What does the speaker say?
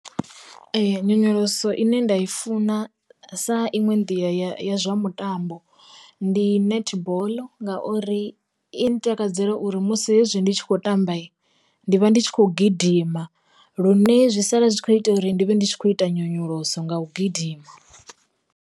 Nyonyoloso ine nda i funa sa iṅwe nḓila ya zwa mitambo, ndi netball nga uri i nṱakadzela uri musi hezwi ndi tshi khou tamba ndi vha ndi tshi khou gidima, lune zwi sala zwi kho ita uri ndi vhe ndi tshi khou ita nyonyoloso nga u gidima.